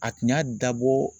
A tun y'a dabɔ